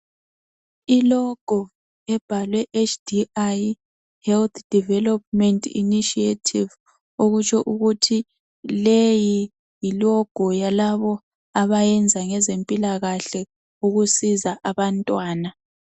I logo ebhalwe HDI health development initiative okutsho ukuthi leyi yi logo yalabo abayenza ngezempilakahle ukusiza abantwana.